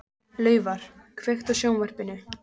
Laufar, kveiktu á sjónvarpinu.